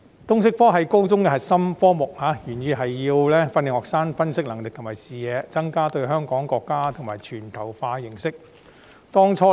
通識科是高中的核心科目，原意是要訓練學生的分析能力和視野，增加對香港、國家及全球的認識。